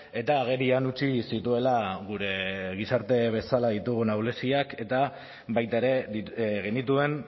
eta agerian utzi zituela gure gizarte bezala ditugun ahuleziak eta baita ere genituen